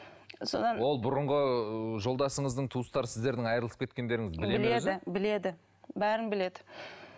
содан ол бұрынғы жолдасыңыздың туыстары сіздердің айырылысып кеткендеріңізді біледі бәрін біледі